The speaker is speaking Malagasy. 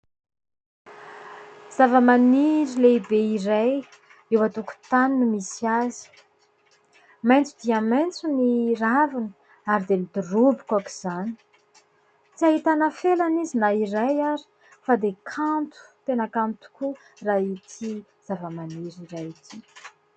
Zava-maniry lehibe iray eo an-tokontany no misy azy maitso dia maitso ny raviny ary dia midoroboka aoka izany tsy ahitana felana izy na iray ary fa dia kanto tena kanto tokoa raha ity zavamaniry iray ity